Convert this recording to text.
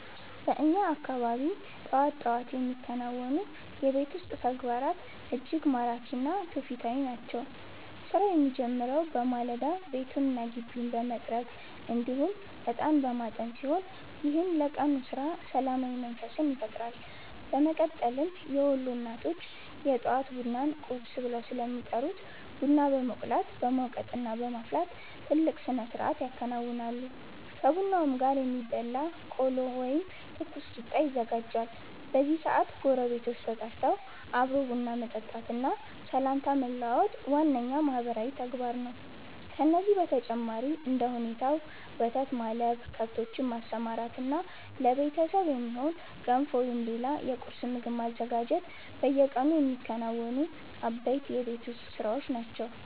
በእኛ አካባቢ ጠዋት ጠዋት የሚከናወኑ የቤት ውስጥ ተግባራት እጅግ ማራኪ እና ትውፊታዊ ናቸው። ስራው የሚጀምረው በማለዳ ቤቱንና ግቢውን በመጥረግ እንዲሁም እጣን በማጠን ሲሆን፣ ይህም ለቀኑ ስራ ሰላማዊ መንፈስን ይፈጥራል። በመቀጠልም የወሎ እናቶች የጠዋት ቡናን 'ቁርስ' ብለው ስለሚጠሩት ቡና በመቁላት፣ በመውቀጥና በማፍላት ትልቅ ስነስርዓት ያከናውናሉ። ከቡናውም ጋር የሚበላ ቆሎ ወይም ትኩስ ቂጣ ይዘጋጃል። በዚህ ሰዓት ጎረቤቶች ተጠርተው አብሮ ቡና መጠጣትና ሰላምታ መለዋወጥ ዋነኛው ማህበራዊ ተግባር ነው። ከዚህም በተጨማሪ እንደ ሁኔታው ወተት ማለብ፣ ከብቶችን ማሰማራትና ለቤተሰብ የሚሆን ገንፎ ወይም ሌላ የቁርስ ምግብ ማዘጋጀት በየቀኑ የሚከናወኑ አበይት የቤት ውስጥ ስራዎች ናቸው።